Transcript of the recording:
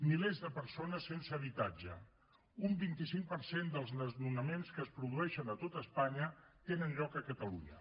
milers de persones sense habitatge un vint cinc per cent dels desnonaments que es produeixen a tot espanya tenen lloc a catalunya